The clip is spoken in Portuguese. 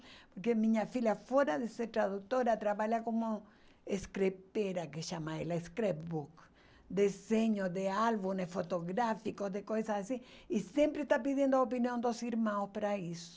Porque minha filha, fora de ser tradutora, trabalha como, que chama ela, desenho de álbuns fotográficos, de coisas assim, e sempre está pedindo a opinião dos irmãos para isso.